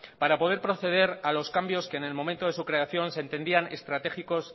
para poder proceder a los cambios que en momento de su creación se entendían estratégicos